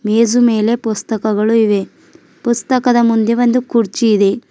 ಈಜು ಮೇಲೆ ಪುಸ್ತಕಗಳು ಇವೆ ಪುಸ್ತಕದ ಮುಂದೆ ಒಂದು ಕುರ್ಚಿ ಇದೆ.